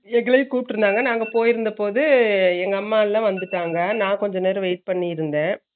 எங்களையும் குப்டுருந்தாங்க நாங்க போயிருதப்பேவே எங்க அம்மா எல்லா வந்துட்டாங்க நான் கொஞ்ச நேரம் wait பண்ணிருந்தே